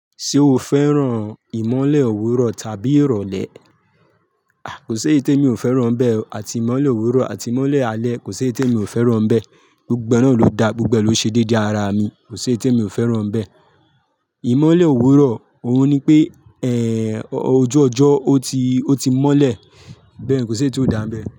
Ṣé o fẹ́ràn ìmọ́lẹ̀ òwúrọ̀ tàbí ìrọ̀lẹ́? A! Kò si eyi te mi ò fẹ́ràn bẹ́ẹ̀ àti ìmọ́lẹ̀ òwúrọ̀ àti ìmọ́lẹ̀ alẹ́ kò si eyi te mi ò fẹ́ràn bẹ́ẹ̀. Gbogbo ee náà ló da, gbogbo ee ló ṣe déédé ara mi. Kò si eyi te mi ò fẹ́ràn bẹ́ẹ̀. Ìmọ́lẹ̀ òwúrọ̀, òhun ni pé ẹ́ẹ́ ojú ọjọ́ ọ ti, ọ ti mọ́lẹ̀. Bẹ́ẹ̀ ni kò ṣi eyi tó ko dà nbẹ̀